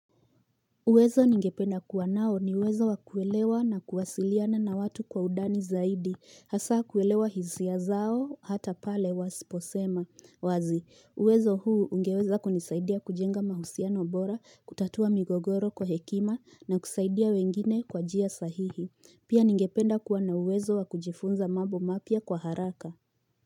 Uwezo ningependa kuwa nao ni uwezo wa kuelewa na kuwasiliana na watu kwa undani zaidi, hasa kuelewa hisia zao hata pale wasiposema. Wazi, uwezo huu ungeweza kunisaidia kujenga mahusiano bora, kutatua migogoro kwa hekima na kusaidia wengine kwa njia sahihi. Pia ningependa kuwa na uwezo wakujifunza mambo mapya kwa haraka.